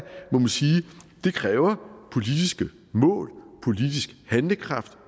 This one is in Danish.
det kræver politiske mål politisk handlekraft